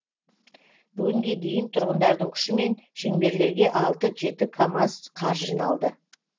бүгінге дейін тұрғындардың күшімен шеңберлерге алты жеті камаз қар жиналды